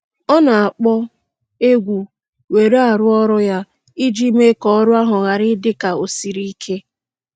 Ọ na-akpọ egwu were arụ ọrụ ya iji mee ka ọrụ ahụ ghara ị dị ka o siri ike.